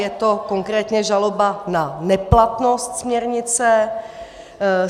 Je to konkrétně žaloba na neplatnost směrnice.